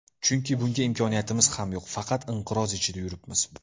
Chunki bunga imkoniyatimiz ham yo‘q, faqat inqiroz ichida yuribmiz.